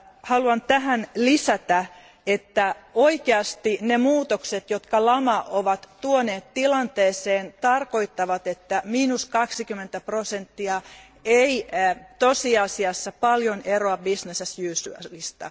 Haluan tähän lisätä, että oikeasti ne muutokset, jotka lama on tuonut tilanteeseen, tarkoittaa, että 20 prosenttia ei tosiasiassa paljon eroa business as usual ista.